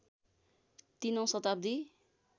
३ औँ शताब्दी